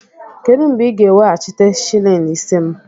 Kedụ mgbe ị ga-eweghachite shịlịn ise m?